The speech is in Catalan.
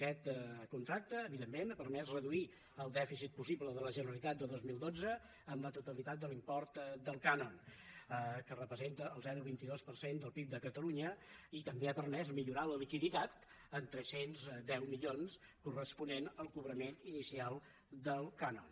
aquest contracte evidentment ha permès reduir el dèficit possible de la generalitat de dos mil dotze en la totalitat de l’import del cànon que representa el zero coma vint dos per cent del pib de catalunya i també ha permès millorar la liquiditat en tres cents i deu milions corresponents al cobrament inicial del cànon